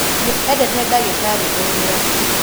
nĩendete ndagĩtarĩ ũrĩa